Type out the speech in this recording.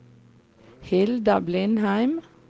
Hilda Blindheim